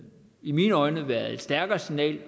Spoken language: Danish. i mine øjne været et stærkere signal